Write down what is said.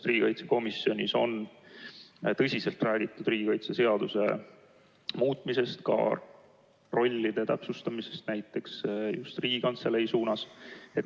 Riigikaitsekomisjonis on tõsiselt räägitud riigikaitseseaduse muutmisest, näiteks ka rollide täpsustamisest, just Riigikantselei suunas.